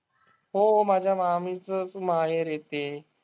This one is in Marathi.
हो, माझ्या मामीचंच माहेर आहे ते.